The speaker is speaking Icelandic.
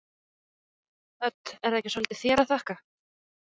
Hödd: Er það ekki svolítið þér að þakka?